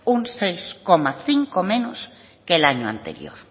un seis coma cinco menos que el año anterior